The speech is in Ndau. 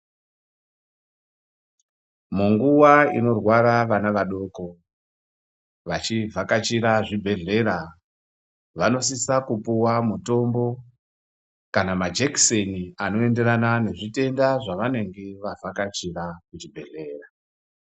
Munguwa inorwara vana vadoko vachivhakachira zvibhedhlera vanosisa kupuwa mutombo kana majikeseni anoenderana nezvitenda zvavanenga vavhakachira kuchibhedhlera.